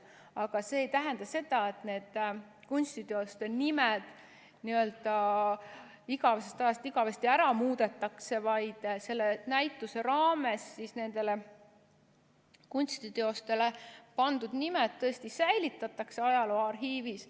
Aga see ei tähenda, et need kunstiteoste nimed n-ö igavesest ajast igavesti ära muudetakse, vaid selle näituse raames nendele kunstiteostele pandud nimed säilitatakse ajalooarhiivis.